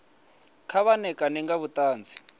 kha vha ṋekane nga vhuṱanzi